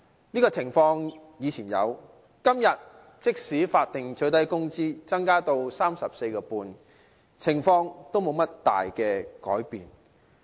這種情況以前有，即使現在法定最低工資增至 34.5 元，情況仍然沒有多大改變。